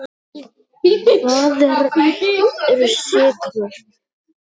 Hvað eru sykrur?